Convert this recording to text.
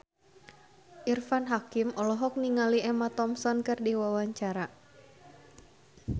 Irfan Hakim olohok ningali Emma Thompson keur diwawancara